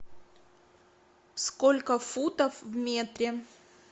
сколько футов в метре